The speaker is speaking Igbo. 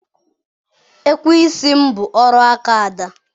ekweisi m bụ Oriakụ Ada